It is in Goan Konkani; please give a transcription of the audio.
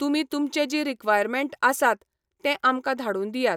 तुमी तुमचे जीं रिक्वायरमँट आसात, तें आमकां धाडून दियात.